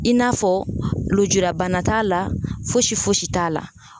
I n'a fɔ lujurabana t'a la fosi fosi t'a la.